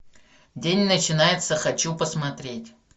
день начинается хочу посмотреть